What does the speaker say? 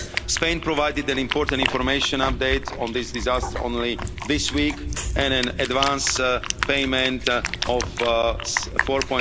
Spain provided an important information update on this disaster only this week, and an advance payment of